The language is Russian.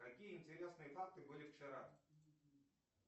какие интересные факты были вчера